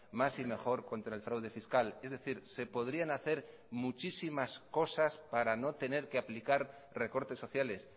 más y mejor contra el fraude fiscal es decir se podrían hacer muchísimas cosas para no tener que aplicar recortes sociales